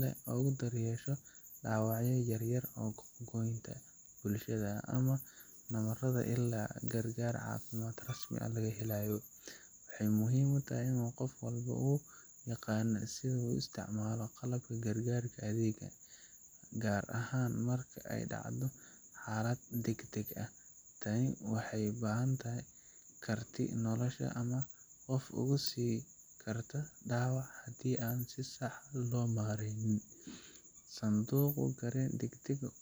leh oogu dar yeesho daawacyo yaryar oo goynta bulshada, ama nabarada ilaa gargaar cafimaad laga helaayo, waxeey muhiim utahay inuu qof walbo uu yaqaano sida uu u isticmaali lahaay qalabka gargaarka adeega, gaar ahaan marka aay dacdo xaalad dagdag ah, tani waxeey ubahan tahay karti nolosha ama qof uu karta dawac hadii si sax loo maryeeynin.